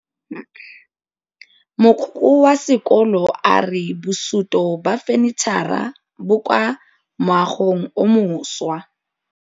Mogokgo wa sekolo a re bosutô ba fanitšhara bo kwa moagong o mošwa.